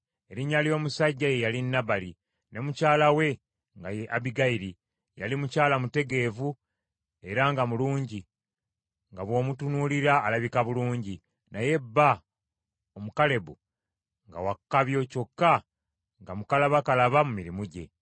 Erinnya ly’omusajja ye yali Nabali, ne mukyala we nga ye Abbigayiri. Yali mukyala mutegeevu era nga mulungi, nga bw’omutunuulira alabika bulungi, naye bba Omukalebu, nga wa kkabyo kyokka nga mukalabakalaba mu mirimu gye.